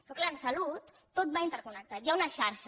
però clar en salut tot va interconnectat hi ha una xarxa